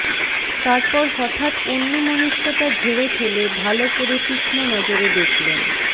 তারপর হঠাৎ অন্যমনস্কতা ঝেড়ে ফেলে ভাল করে তীক্ষ্ণ নজরে দেখলেন